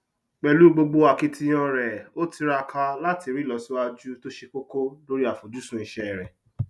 pelú gbogbo akitiyan rẹ ó tiraka láti rí ìlọsíwájú tó ṣe kókó lórí àfojúsùn iṣẹ rẹ